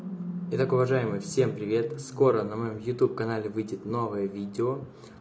итак уважаемые всем привет скоро на моём ютуб канале выйдет новое видео